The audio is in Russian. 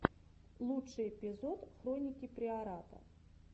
лучший эпизод хроники приората